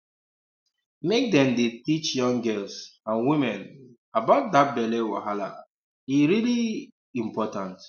make dem dey teach young girls and women um about that belly wahala um um e really um important